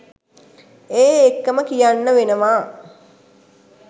ඒ එක්කම කියන්න වෙනවා.